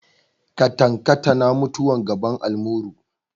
Katankatana mutuwar gaban almuru.